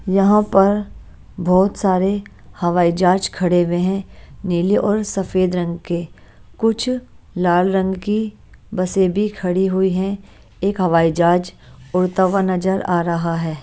यहाँ पर बहुत सारे हवाई जहाज खड़े हुए हैं नीले और सफेद रंग के कुछ लाल रंग की बसें भी खड़ी हुई हैं एक हवाई जहाज उड़ता हुआ नजर आ रहा है।